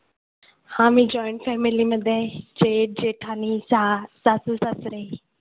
हां मी joint family आहे. जेठ जेठानी आणि सासू सासरे